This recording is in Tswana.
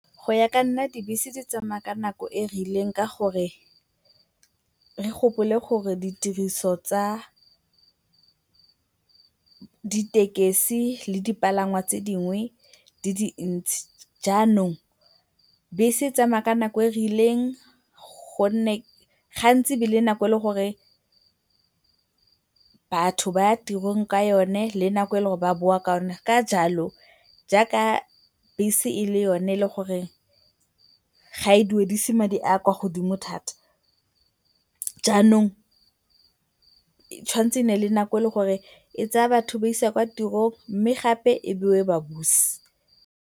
Go ya ka nna dibese di tsamaya ka nako e e rileng ka gore re gopole gore ditiriso tsa ditekesi le dipalangwa tse dingwe di dintsi jaanong bese e tsamaya ka nako e rileng gonne gantsi e a be e le nako e leng gore batho ba ya tirong ka yone le nako e leng gore ba boa ka yona. Ka jalo jaaka bese e le yone e e leng gore ga e duedise madi a kwa godimo thata, jaanong e tshwanetse e nne le nako e e leng gore e tsaya batho e ba isa kwa tirong mme gape e boe e ba buse.